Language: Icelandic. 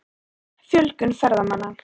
Fjölgun ferðamanna?